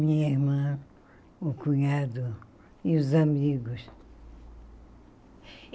Minha irmã, o cunhado e os amigos.